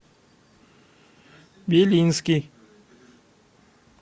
белинский